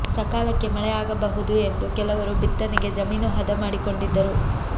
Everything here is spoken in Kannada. ಸಕಾಲಕ್ಕೆ ಮಳೆ ಆಗಬಹುದು ಎಂದು ಕೆಲವರು ಬಿತ್ತನೆಗೆ ಜಮೀನು ಹದ ಮಾಡಿಕೊಂಡಿದ್ದರು